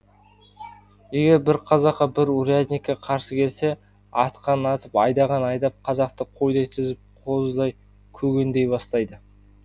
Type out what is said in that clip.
егер бір қазақ бір урядникке қарсы келсе атқанын атып айдағанын айдап қазақты қойдай тізіп қозыдай көгендей бастайды